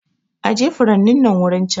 Aje furanin nan wurin can!